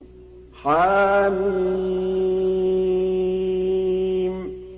حم